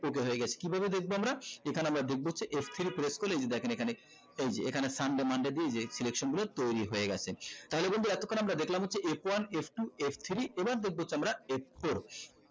okay হয়ে গেছে কিভাবে দেখবো আমরা এখানে আমরা দেখবো হচ্ছে f three এই যে দেখেন এখানে এই যে sunday monday দিয়ে এই যে selection গুলো তৈরী হয়ে গেছে তাহলে বন্ধু এতক্ষন আমরা দেখলাম f one f two f three এবার দেখবো আমরা f four